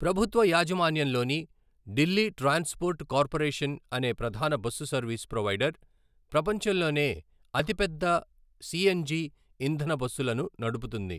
ప్రభుత్వ యాజమాన్యంలోని Delhi transport corporation అనే ప్రధాన బస్సు సర్వీస్ ప్రొవైడర్, ప్రపంచంలోనే అతిపెద్ద సిఎన్జి ఇంధన బస్సులను నడుపుతుంది.